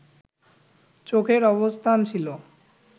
চোখের অবস্থান ছিল